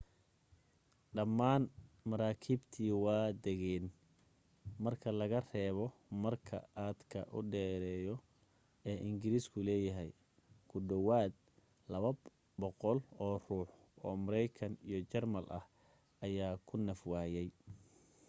dhammaan maraakiibtii waa degeen marka laga reebo marka aadka u dheereyo ee ingiriisku leeyahay ku dhawaad 200 oo ruux oo maraykan iyo jarmal ah ayaa ku naf waayay